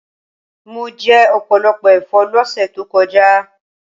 Mo jẹ ọ̀pọ̀lọpọ̀ ẹ̀fọ́ lọ́sẹ̀ tó kọjá